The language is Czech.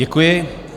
Děkuji.